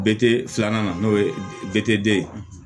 Bete filanan na n'o ye de ye